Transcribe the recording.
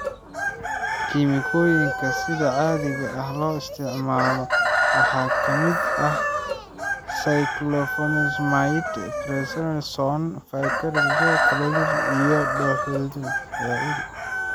Kiimikooyinka sida caadiga ah loo isticmaalo waxaa ka mid ah cyclophosphamide, prednisone, vincristine, chlorambucil iyo doxorubicin.